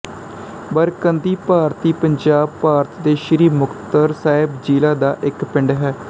ਬਰਕੰਦੀ ਭਾਰਤੀ ਪੰਜਾਬ ਭਾਰਤ ਦੇ ਸ੍ਰੀ ਮੁਕਤਸਰ ਸਾਹਿਬ ਜ਼ਿਲ੍ਹਾ ਦਾ ਇੱਕ ਪਿੰਡ ਹੈ